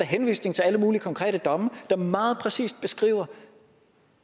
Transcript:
henvisning til alle mulige konkrete domme der meget præcist beskriver